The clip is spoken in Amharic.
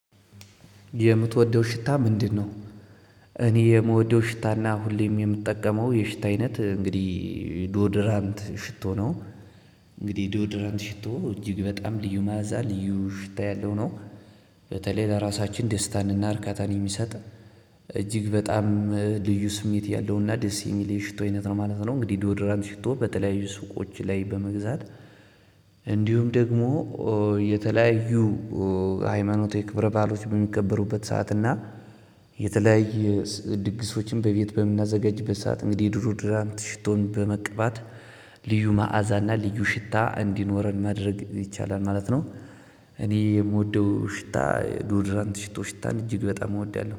የምትወደው ሽታ ምንድነው? እኔ የምወደው ሽታና ሁሌም የምጠቀመው የሽታ አይነት እንግዲህ ዶድራንት ሽቶ ነው። እንግዲህ ዶድራንት ሽቶ እጅግ በጣም ልዩ ማዕዛ ልዩ ሽታ ያለው ነው። በተለይ ለራሳችን ደስታን እና እርካታን የሚሰጥ። እጅግ በጣም ልዩ ስሜት ያለውና ደስ የሚለኝ የሽቶ አይነት ነው ማለት ነው። እንግዲህ ዶድራንት ሽቶ በተለያዩ ሱቆች ላይ በመግዛት እንዲሁም ደግሞ የተለያዩ ሃይማኖታዊ የክብረ ባዕሎች በሚከበሩበት ሰዓት እና የተለያየ ድግሶችን በቤት በምናዘጋጅበት ሰዓት እንግዲህ ድሮ ድራንት ሽቶን በመቀባት ልዩ መዓዛና ልዩ ሽታ እንዲኖረን ማድረግ ይቻላል ማለት ነው። የምወደው ሽታ ዶድራንት ሽቶ ሽታን እጅግ በጣም እወዳለሁ